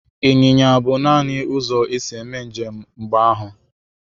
Ịnyịnya bụ nanị ụzọ e si eme njem mgbe ahụ.